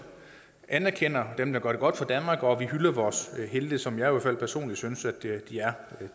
anerkender dem der gør det godt for danmark og at vi hylder vores helte som jeg i hvert fald personligt synes